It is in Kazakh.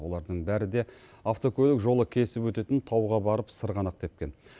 олардың бәрі де автокөлік жолы кесіп өтетін тауға барып сырғанақ тепкен